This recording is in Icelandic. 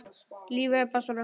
Lífið er bara svona.